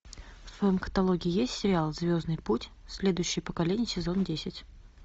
в твоем каталоге есть сериал звездный путь следующее поколение сезон десять